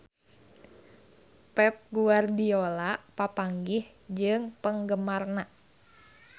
Pep Guardiola papanggih jeung penggemarna